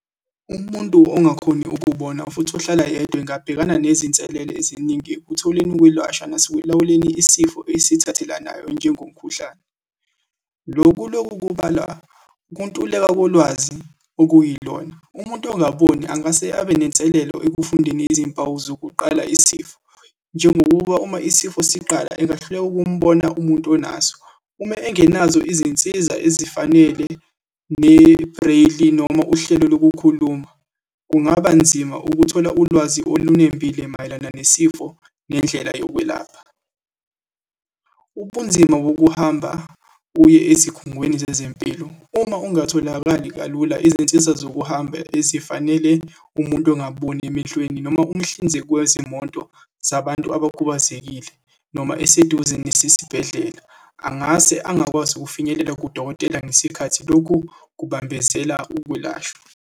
Umuntu ongakhoni ukubona, futhi uhlala yedwa engabhekana nezinselele eziningi ekutholeni ukwelwasha nasekwelawuleni isifo esithathelanayo, njengomkhuhlane. Lo kuloku kubalwa ukuntuleka kolwazi okuyilona. Umuntu ongaboni angase abe nenselelo ekufundeni izimpawu zokuqala isifo, njengokuba uma isifo siqala, engahluleka ukumbona umuntu onaso uma engenazo izinsiza ezifanele ne-braille, noma uhlelo lokukhuluma, kungaba nzima ukuthola ulwazi olunembile mayelana nesifo, nendlela yokwelapha. Ubunzima bokuhamba uye ezikhungweni zezempilo, uma ungatholakali kalula izinsiza zokuhamba ezifanele umuntu ongaboni emehlweni, noma umhlinzeki wezimoto zabantu abakhubazekile, noma eseduze nesesibhedlela, angase angakwazi ukufinyelela kudokotela ngesikhathi. Lokhu kubambezela ukwelashwa.